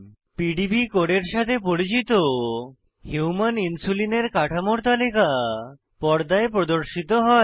PDB কোডের সাথে পরিচিত হুমান ইনসুলিন এর কাঠামোর তালিকা পর্দায় প্রদর্শিত হয়